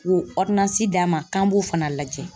K'o d'a ma k'an b'o fana lajɛ